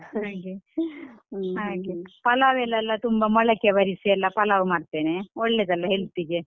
ಹಾಗೆ ಹಾಗೆ ಪಲಾವಲೆಲ್ಲಾ ತುಂಬಾ ಮೊಳಕೆ ಬರಿಸಿಯೆಲ್ಲಾ ಪಲಾವ್ ಮಾಡ್ತೇನೆ ಒಳ್ಳೇದಲ್ಲಾ health ಗೆ?